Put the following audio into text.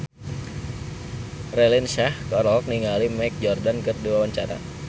Raline Shah olohok ningali Michael Jordan keur diwawancara